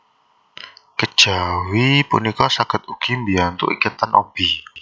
Kejawi punika saged ugi mbiyantu iketan obi